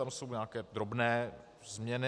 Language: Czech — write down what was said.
Tady jsou nějaké drobné změny.